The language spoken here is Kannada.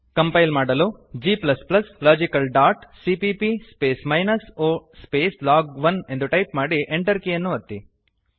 ಕಂಪೈಲ್ ಮಾಡಲು g logical dot CPP space minus o space log one ಎಂದು ಟೈಪ್ ಮಾಡಿ Enter ಕೀಯನ್ನು ಒತ್ತಿ